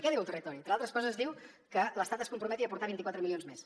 què diu el territori entre altres coses diu que l’estat es comprometi a aportar hi vint quatre milions més